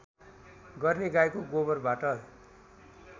गर्ने गाईको गोबरबाट